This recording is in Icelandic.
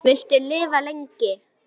Viltu lifa lengi?